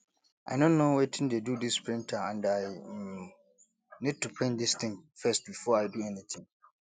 i no know wetin dey do dis printer and i um need to print dis thing first before i do anything